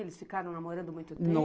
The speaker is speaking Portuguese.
Eles ficaram namorando muito tempo.